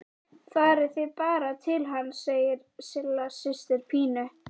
Farið þið bara til hans, segir Silla systir Pínu.